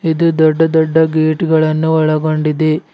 ಇದು ದೊಡ್ಡ ದೊಡ್ಡ ಗೇಟ್ ಗಳನ್ನು ಒಳಗೊಂಡಿದೆ.